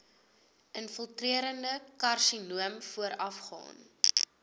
infiltrerende karsinoom voorafgaan